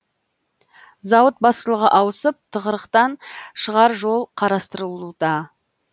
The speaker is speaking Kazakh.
зауыт басшылығы ауысып тығырықтан шығар жол қарастырылуда